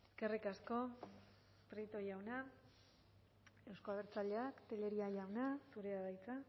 eskerrik asko prieto jauna euzko abertzaleak tellería jauna zurea da hitza